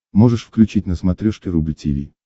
можешь включить на смотрешке рубль ти ви